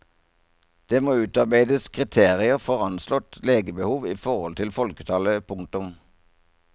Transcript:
Det må utarbeides kriterier for anslått legebehov i forhold til folketall. punktum